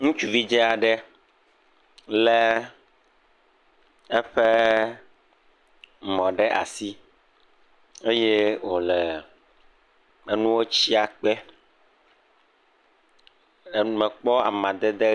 Ŋutsuvi dzɛ aɖe le eƒe mɔ ɖe asi eye wo le enuwo tsia kpe. E mekpɔ amadede.